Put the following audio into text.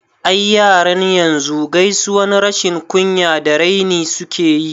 I, yaran yanzu gaisuwan rashin kunya da raini suke yi